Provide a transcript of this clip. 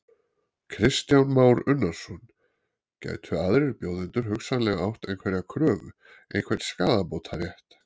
Kristján Már Unnarsson: Gætu aðrir bjóðendur hugsanlega átt einhverja kröfu, einhvern skaðabótarétt?